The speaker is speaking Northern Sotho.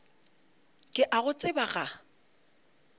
ke a go tseba ga